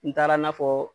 N taara n'a fɔ